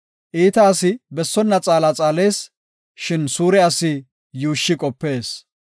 Iita asi bessona xaala xaalees; shin suure asi yuushshi qopees.